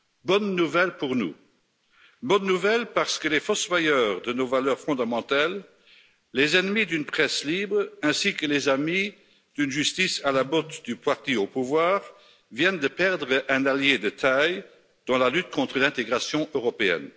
Bonnes nouvelles pour nous, bonnes nouvelles parce que les fossoyeurs de nos valeurs fondamentales, les ennemis d'une presse libre, ainsi que les amis d'une justice à la botte du parti au pouvoir, viennent de perdre un allié de taille dans la lutte contre l'intégration européenne.